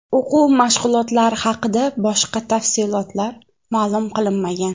O‘quv mashg‘ulotlari haqida boshqa tafsilotlar ma’lum qilinmagan.